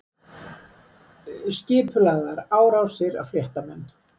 Skipulagðar árásir á fréttamenn